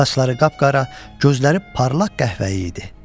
Saçları qapqara, gözləri parlaq qəhvəyi idi.